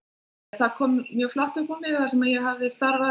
það kom mjög flatt upp á mig þar sem ég hafði starfað